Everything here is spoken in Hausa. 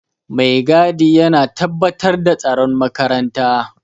Maigadi yana tabbatar da tsaron makaranta